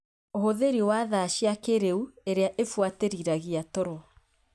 Ũhũthĩri wa thaa cia kĩrĩu irĩa ibuatĩrĩragia toro